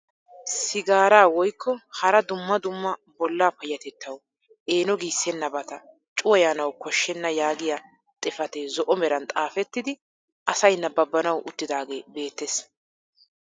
Sigaaraa woykko hara dumma dumma bollaa payatettawu eeno giisennabata cuwayanawu kooshshena yaagiyaa xifatee zo'o meran xaafettidi asay nababanawu uttidagee beettees.